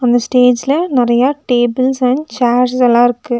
இந்த ஸ்டேஜ்ல நெறைய டேபிள்ஸ் அண்ட் சேர்ஸ்ஸெல்லா இருக்கு.